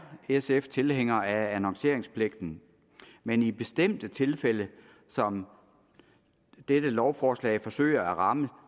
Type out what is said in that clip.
sf tilhænger af annonceringspligten men i bestemte tilfælde som dette lovforslag forsøger at ramme